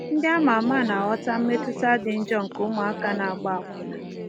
Ndị a ma ama na-aghọta mmetụta dị njọ nke ụmụaka ịgba akwụna.